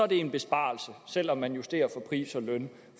det en besparelse selv om man justerer for pris og løn